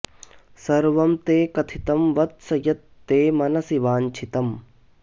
सर्वं ते कथितं वत्स यत् ते मनसि वाञ्छितम्